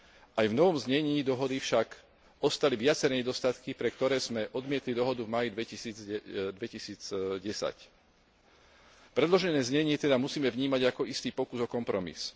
Aj v novom znení dohody však ostali viaceré nedostatky, pre ktoré sme odmietli dohodu v máji v 2010. Predložené znenie teda musíme vnímať ako istý pokus o kompromis.